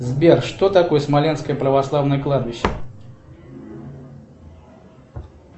сбер что такое смоленское православное кладбище